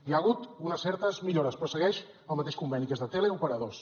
hi ha hagut unes certes millores però segueix el mateix conveni que és de teleoperadors